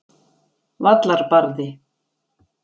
Vallarbarði